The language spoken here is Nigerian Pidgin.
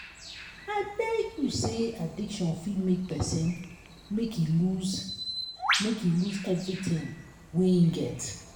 i tell you sey addiction fit make pesin make e loose make e loose everytin wey im get.